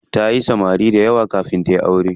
Tayi samari dayawa kafin tayi aure.